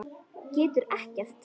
Getur ekkert.